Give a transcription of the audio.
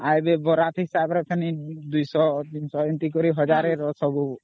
ଆଗେ ପୁଣି ବିବାହ ଶୋଭାଯାତ୍ରା ହିସାବରେ Two Hundred Three Hundredପୁଣି One Thousand ହିସାବରେ ସବୁ